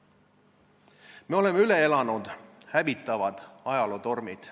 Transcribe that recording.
Me oleme üle elanud hävitavad ajalootormid.